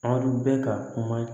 Aw bɛ ka kuma